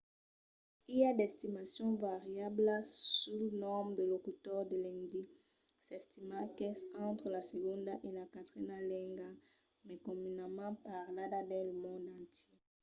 i a d'estimacions variablas sul nombre de locutors de l'indi. s'estima qu'es entre la segonda e la quatrena lenga mai comunament parlada dins lo mond entièr